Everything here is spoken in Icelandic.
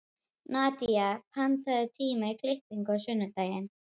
Nadía, pantaðu tíma í klippingu á sunnudaginn.